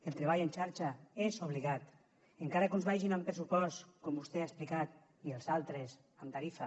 el treball en xarxa és obligat encara que uns vagin amb pressupost com vostè ha explicat i els altres amb tarifa